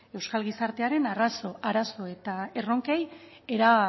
euskal gizartearen arazo eta erronkei era